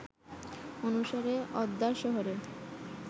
অনুসারে অদ্যার শহরের